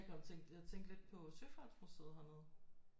Jeg kom jeg tænkte lidt på søfartsmuseet hernede